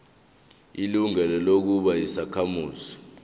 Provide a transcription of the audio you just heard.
ilungelo lokuba yisakhamuzi